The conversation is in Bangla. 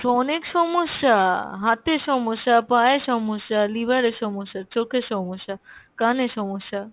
অনেক সমস্যা, হাতে সমস্যা, পায়ে সমস্যা, liver এ সমস্যা, চোখে সমস্যা, কানে সমস্যা।